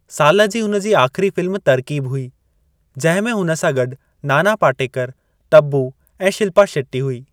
साल जी हुन जी आख़िरी फ़िल्म तरकीब हुई, जंहिं में हुन सां गॾु नाना पाटेकर, तब्बू ऐं शिल्पा शेट्टी हुई।